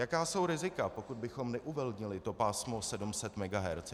Jaká jsou rizika, pokud bychom neuvolnili to pásmo 700 MHz?